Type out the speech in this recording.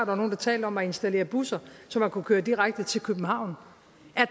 var nogle der talte om at installere busser så man kunne køre direkte til københavn